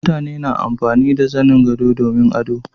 mutane na amfani da zanin gado domin ado